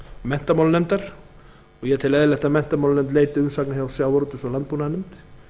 menntamálanefndar og ég tel eðlilegt að menntamálanefnd leiti umsagnar hjá sjávarútvegs og landbúnaðarnefnd